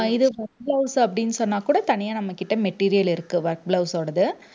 அஹ் இது work blouse அப்படின்னு சொன்னாக்கூட தனியா நம்மகிட்ட material இருக்கு work blouse ஓடது.